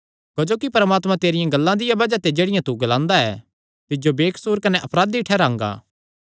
क्जोकि परमात्मा तेरियां गल्लां दिया बज़ाह ते जेह्ड़ियां तू ग्लांदा ऐ तिज्जो बेकसूर कने अपराधी ठैहरांगा